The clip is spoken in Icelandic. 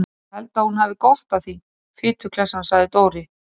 Ég held að hún hefði gott af því, fituklessan sagði Dóri.